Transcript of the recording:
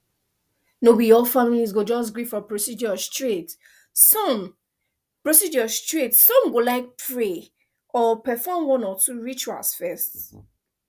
no be all families go just gree for procedure straight some procedure straight some go like to pray or perform one or two rituals first